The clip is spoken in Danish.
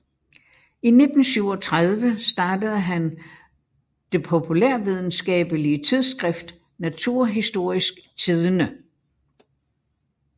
I 1937 startede han det populærvidenskabelige tidskrift Naturhistorisk Tidende